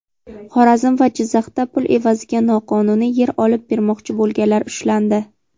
Xorazm va Jizzaxda pul evaziga noqonuniy yer olib bermoqchi bo‘lganlar ushlandi.